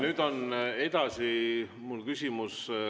Nüüd on edasi mul küsimus.